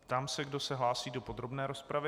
Ptám se, kdo se hlásí do podrobné rozpravy.